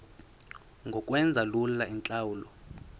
ngokwenza lula iintlawulo